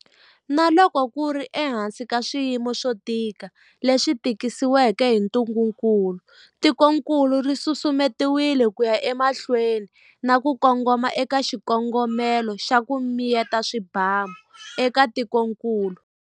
Na loko ku ri ehansi ka swiyimo swo tika leswi tisiweke hi ntungukulu, tikokulu ri susumetile ku ya emahlweni na ku kongoma eka xikongomelo xa, ku miyeta swibamu eka tikokulu.